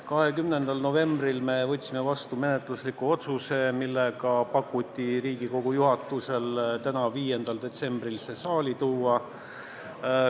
20. novembril me võtsime vastu menetlusliku otsuse, milles pakuti, et Riigikogu juhatus täna, 5. detsembril selle eelnõu saali tooks.